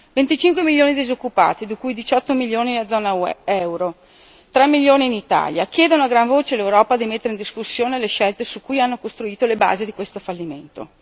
Venticinque milioni di disoccupati, di cui 18 milioni nella zona euro, 3 milioni in Italia, chiedono a gran voce all'Europa di mettere in discussione le scelte su cui hanno costruito le basi di questo fallimento.